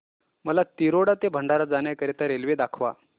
मला तिरोडा ते भंडारा जाण्या करीता रेल्वे दाखवा